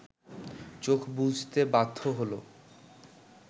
চোখ বুজতে বাধ্য হলো